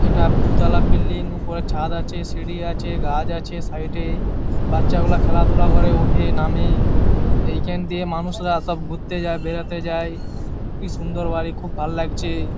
এটা দু তালা বিল্ডিং উপরে ছাদ আছে সিঁড়ি আছে গাছ আছে সাইডে বাচ্চাগুলা খেলাধুলা করে উঠে নামে। এইখান দিয়ে মানুষরা সব ঘুরতে যায় বেড়াতে যায়। কি সুন্দর বাড়ি খুব ভালো লাগছে।